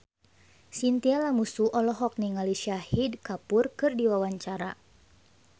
Chintya Lamusu olohok ningali Shahid Kapoor keur diwawancara